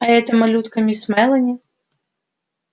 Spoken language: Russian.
а эта малютка мисс мелани